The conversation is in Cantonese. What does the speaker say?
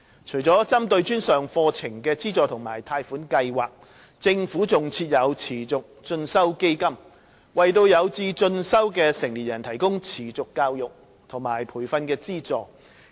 除了針對專上課程的資助和貸款計劃，政府還設有持續進修基金("基金"），為有志進修的成年人提供持續教育和培訓資助。